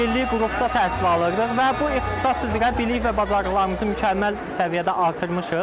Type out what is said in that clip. Bir illik qrupda təhsil alırdıq və bu ixtisas üzrə bilik və bacarıqlarımızı mükəmməl səviyyədə artırmışıq.